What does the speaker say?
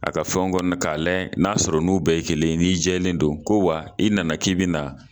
A ka fɔ n kɔ ka layɛ n'a sɔrɔ n'u bɛɛ ye kelen ye, n'i jɛlen don, ko wa i nana k'i bina